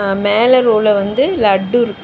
அ மேல ரோல வந்து லட்டு இருக்கு.